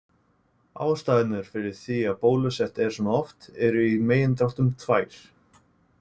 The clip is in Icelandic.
Ástæðurnar fyrir því að bólusett er svona oft eru í megindráttum tvær.